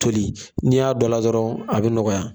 Toli n'i y'a dɔ la dɔrɔn a bɛ nɔgɔya